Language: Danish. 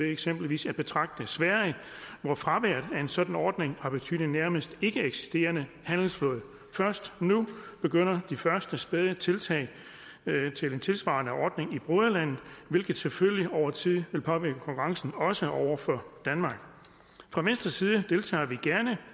eksempelvis betragter sverige hvor fraværet af en sådan ordning har betydet en nærmest ikkeeksisterende handelsflåde først nu begynder de første spæde tiltag til en tilsvarende ordning i broderlandet hvilket selvfølgelig over tid vil påvirke konkurrencen også over for danmark fra venstres side deltager vi gerne